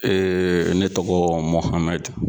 ne tɔgɔ Mɔhamɛdi.